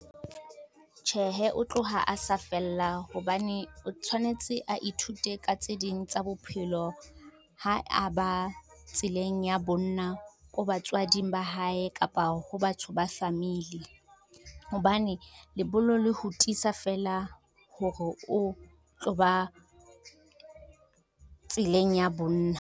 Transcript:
Tjhehe, o tloha a sa fella hobane o tshwanetse a ithute ka tse ding tsa bophelo, ha a ba tseleng ya bonna ko batswading ba hae kapa ho batho ba famili, hobane lebollo le ho tisa feela hore o tlo ba tseleng ya bonna.